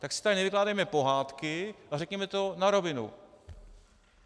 Tak si tady nevykládejme pohádky a řekněme to na rovinu.